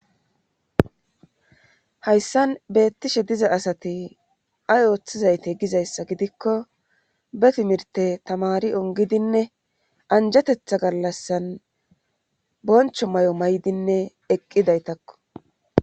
hayssan beettishe diza asati ay ooththizayte gizayssa gidikko be timirte tamari ongidinne anjetetha gallassan boncho may7o maydinne eqqidaytakko